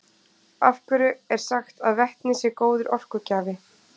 Af hverju er sagt að vetni sé góður orkugjafi?